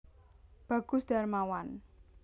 Bagus Darmawan